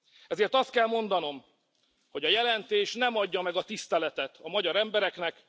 Ezért azt kell mondanom, hogy a jelentés nem adja meg a tiszteletet a magyar embereknek.